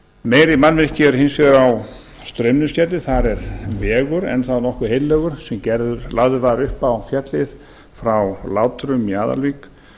meiri mannvirki eru hins vegar á straumnesgerði þar er vegur enn þá nokkuð heillegur sem lagður var upp á fjallið frá látrum í aðalvík